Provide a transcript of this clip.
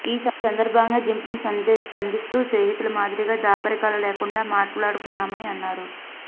ఈ సందర్భంగానే జిన్పింగ్ స్పందిస్తూ స్నేహితుల మాదిరిగా దాపరికాలు లేకుండా మాట్లాడుకున్నామని అన్నారు